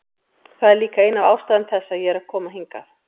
Það er líka ein af ástæðum þess að ég er að koma hingað.